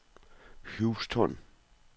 Houston